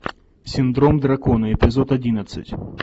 синдром дракона эпизод одиннадцать